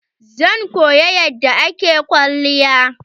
Zan koya yadda ake kwalliya.